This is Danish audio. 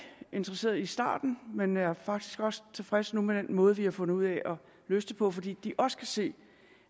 interesseret i starten men er faktisk også tilfredse nu med den måde vi har fundet ud af at løse det på fordi de også kan se